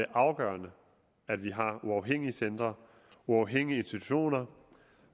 afgørende at vi har uafhængige centre uafhængige institutioner